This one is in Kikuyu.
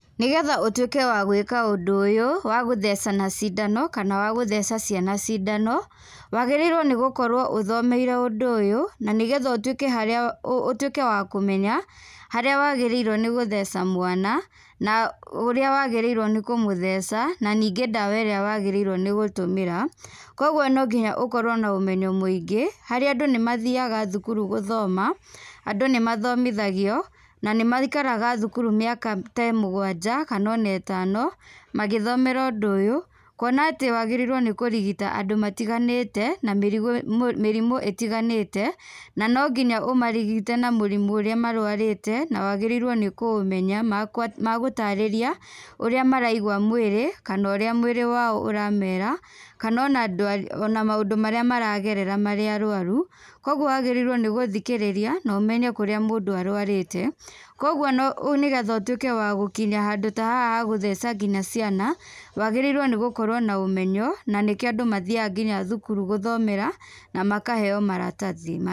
Nĩgetha ũtwĩke wa gwĩka ũndũ ũyũ, wa gũthecana cindano, kana wa gũtheca ciana cindano, wagĩrĩirwo nĩgũkorwo ũthomeire ũndũ ũyũ, nanĩgetha ũtwĩke harĩa, ũtwĩke wa kũmenya, harĩa wagĩrĩirwo nĩ gũtheca mwana, na ũrĩa wagĩrĩirwo nĩ kũmũtheca, naningĩ ndawa ĩrĩa wagĩrĩirwo nĩgũtũmĩra, kwoguo nonginya ũkorwo nomenyo mũingĩ, harĩa andũ nĩmathiaga thukuru gũthoma, andũ nĩmathomithagio, na nĩmaikaraga thukuru mĩaka mĩ ta mũgwanja, kanona ĩtano, magĩthomera ũndũ ũyũ, kuona atĩ wagĩrĩirwo nĩ kũrigita andũ matiganĩte, na mĩrimũ ĩtiganĩte, na nonginya ũmarigite na mũrimũ ũrĩa marwarĩte, na wagĩrĩirwo nĩkũũmenya magũtarĩria ũrĩa maraigua mwĩrĩ, kana ũrĩa mwĩrĩ wao ũramera, kanona ndwa ona maũndũ marĩa maragerera marĩ arwaru, kwoguo wagĩrĩirwo nĩgũthikĩrĩria, nomenye kũrĩa mũndũ arwarĩte, kwoguo no nĩgetha ũtwĩke wa gũkinya handũ ta haha ha gũtheca nginya ciana, wagĩrĩirwo nĩ gũkorwo na ũmenyo, nanĩkĩo andũ mathiaga nginya thukuru gũthomera, namakaheo maratathi ma.